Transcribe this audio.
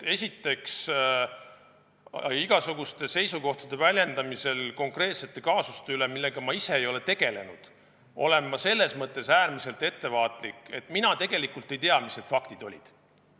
Esiteks, igasuguste seisukohtade väljendamisel konkreetsete kaasuste üle, millega ma ise ei ole tegelenud, olen ma äärmiselt ettevaatlik, et mina tegelikult ei tea, mis need faktid olid.